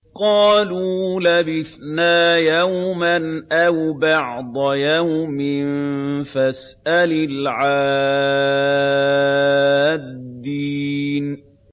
قَالُوا لَبِثْنَا يَوْمًا أَوْ بَعْضَ يَوْمٍ فَاسْأَلِ الْعَادِّينَ